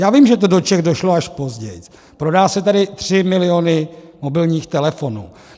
Já vím, že to do Čech došlo až později, prodají se tady 3 miliony mobilních telefonů.